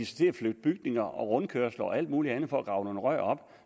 til at flytte bygninger og rundkørsler og alt muligt andet for at grave nogle rør op